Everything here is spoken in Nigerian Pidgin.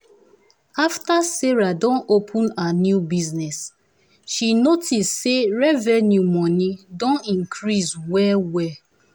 after sarah don open her new bussiness she notice say revenue money don increase well wel.